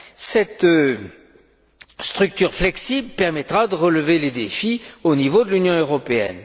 Cette structure flexible permettra de relever les défis au niveau de l'Union européenne.